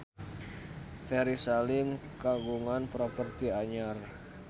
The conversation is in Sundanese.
Ferry Salim kagungan properti anyar